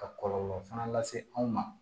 Ka kɔlɔlɔ fana lase anw ma